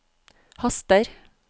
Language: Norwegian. haster